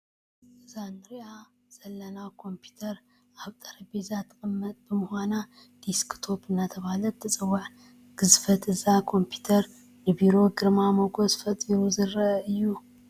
እዛ ንሪኣ ዘለና ኮምፒዩተር ኣብ ጠረጴዛ ትቕመጥ ብምዃና ዴስክቶፕ እናተባህለት ትፅዋዕ፡፡ ግዝፈት እዛ ኮምፒዩተር ንቢሮ ግርማ ሞገስ ፈጢሩ ዝርአ እዩ፡፡